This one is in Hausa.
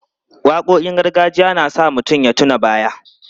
Waƙoƙin gargajiya na sa mutum ya tuna baya.